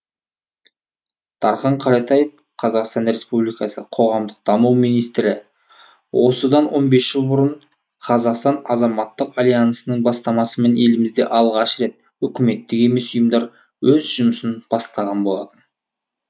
дархан кәлетаев қазақстан республикасы қоғамдық даму министрі осыдан он бес жыл бұрын қазақстан азаматтық альянсының бастамасымен елімізде алғаш рет үкіметтік емес ұйымдар өз жұмысын бастаған болатын